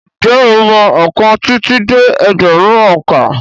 Ǹjẹ́ ó mọ ọkàn títí dé ẹgbẹ̀rún òǹkà.